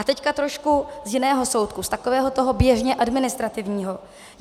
A teď trošku z jiného soudku, z takového toho běžně administrativního.